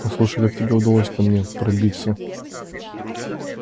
послушай как тебе удалось ко мне пробиться